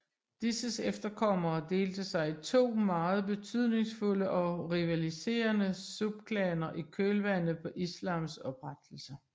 Disses efterkommere delte sig i to meget betydningfulde og rivaliserende subklaner i kølvandet på islams oprettelse